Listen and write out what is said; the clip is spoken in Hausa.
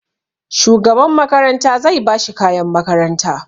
Shugaban makaranta zai ba shi kayan makaranta.